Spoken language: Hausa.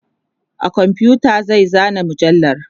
a komfuta zai zana mujallar